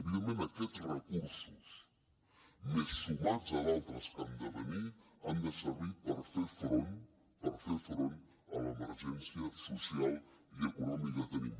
evidentment aquests recursos més sumats a d’altres que han de venir han de servir per fer front a l’emergència social i econòmica que tenim